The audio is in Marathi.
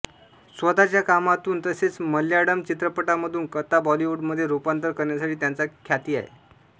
स्वतः च्या कामातून तसेच मल्याळम चित्रपटांमधून कथा बॉलिवूडमध्ये रुपांतर करण्यासाठी त्यांचा ख्याती आहे